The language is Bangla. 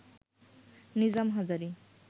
নিজাম হাজারি